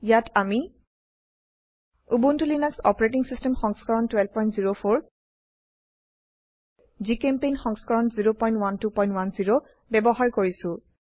ইয়াত আমি Ubuntu Linux OS সংস্কৰণ 1204 জিচেম্পেইণ্ট সংস্কৰণ 01210 ব্যবহাৰ কৰিছো